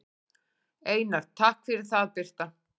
Einar: Takk fyrir það Birta.